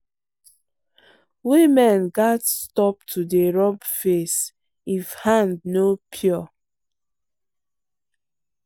women gats stop to dey rub face if hand no pure.